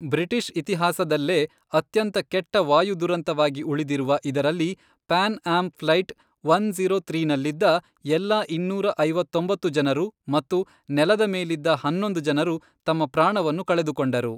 British ಇತಿಹಾಸದಲ್ಲೇ ಅತ್ಯಂತ ಕೆಟ್ಟ ವಾಯು ದುರಂತವಾಗಿ ಉಳಿದಿರುವ ಇದರಲ್ಲಿ, Pan Am flight one zero ತ್ರೀನಲ್ಲಿದ್ದ, ಎಲ್ಲಾ ಇನ್ನೂರ ಐವತ್ತೊಂಬತ್ತು ಜನರು ಮತ್ತು ನೆಲದ ಮೇಲಿದ್ದ ಹನ್ನೊಂದು ಜನರು ತಮ್ಮ ಪ್ರಾಣವನ್ನು ಕಳೆದುಕೊಂಡರು.